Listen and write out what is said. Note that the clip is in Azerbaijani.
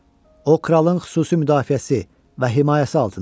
O kralın xüsusi müdafiəsi və himayəsi altındadır.